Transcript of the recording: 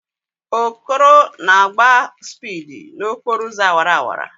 Okoro na-agba spịdi n'okporo ụzọ awara awara